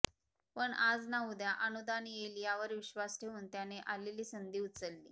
पण आज ना उद्या अनुदान येईल यावर विश्वास ठेऊन त्याने आलेली संधी उचलली